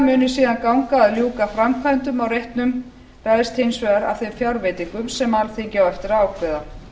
muni síðan ganga að ljúka framkvæmdum á reitnum ræðst hins vegar af þeim fjárveitingum sem alþingi á eftir að ákveða